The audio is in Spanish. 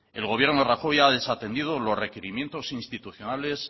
el gobierno de rajoy ha desatendido los requerimientos institucionales